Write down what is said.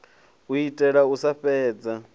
u itela u sa fhedza